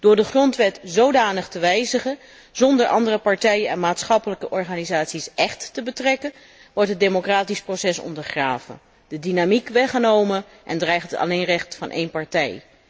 Door de grondwet zodanig te wijzigen, zonder andere partijen en maatschappelijke organisaties echt te betrekken, wordt het democratisch proces ondergraven, de dynamiek weggenomen en dreigt het alleenrecht van één partij.